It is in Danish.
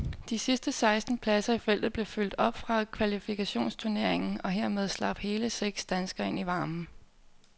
De sidste seksten pladser i feltet blev fyldt op fra kvalifikationsturneringen, og herfra slap hele seks danskere ind i varmen.